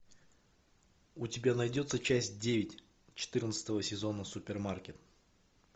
у тебя найдется часть девять четырнадцатого сезона супермаркет